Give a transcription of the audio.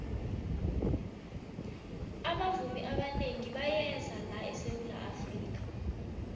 abavumi abanengi bayeza la esawula afrika